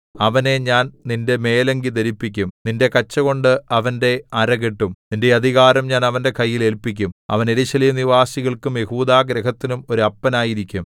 അവനെ ഞാൻ നിന്റെ മേലങ്കി ധരിപ്പിക്കും നിന്റെ കച്ചകൊണ്ട് അവന്റെ അര കെട്ടും നിന്റെ അധികാരം ഞാൻ അവന്റെ കയ്യിൽ ഏല്പിക്കും അവൻ യെരൂശലേം നിവാസികൾക്കും യെഹൂദാഗൃഹത്തിനും ഒരു അപ്പനായിരിക്കും